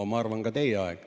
No ma arvan, et ka teie aeg.